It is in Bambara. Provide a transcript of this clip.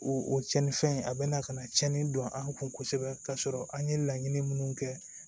O o cɛnnifɛn a bɛna ka na cɛnni don an kun kosɛbɛ k'a sɔrɔ an ye laɲini minnu kɛ